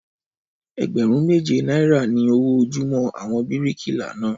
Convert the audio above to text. Ẹgbẹ̀rún méje náírà ni owó ojúmọ́ àwọn bíríkìlà náà